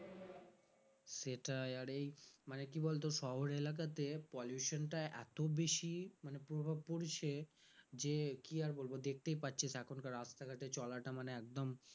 সেটাই আর এই মানে কি বলতো শহর এলাকাতে pollution টা এত বেশি মানে পুরোপুরি সে যে কি আর বলবো দেখতেই পাচ্ছিস এখনকার রাস্তাঘাটে চলাটা মানে একদম